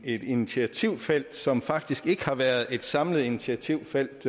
et initiativfelt som faktisk ikke har været et samlet initiativfelt